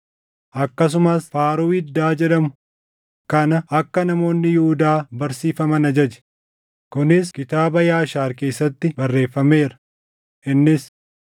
akkasumas faaruu iddaa jedhamu kana akka namoonni Yihuudaa barsiisfaman ajaje; kunis kitaaba Yaashaar keessatti barreeffameera. Innis: